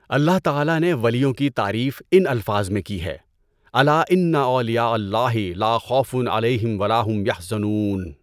اللہ تعالیٰ نے ولیوں کی تعریف ان الفاظ میں کی ہے: أَلاَ إِنَّ أَوْلِيَاءَ اللهِ لاَ خَوْفٌ عَلَيْهِمْ وَلاَ هُمْ يَحْزَنُونَ.